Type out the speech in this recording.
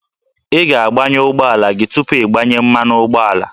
Ị ga-agbanyụ ụgbọala gị tupu ịgbanye mmanụ ụgbọala